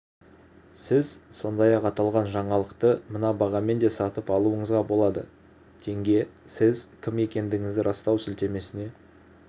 сіз сондай-ақ аталған жаңалықты мына бағамен де сатып алуыңызға болады тенге сіз кім екендігіңізді растау сілтемесіне